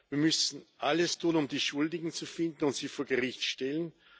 Wir müssen alles tun, um die Schuldigen zu finden und sie vor Gericht zu stellen.